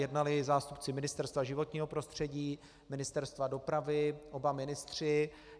Jednali zástupci Ministerstva životního prostředí, Ministerstva dopravy, oba ministři.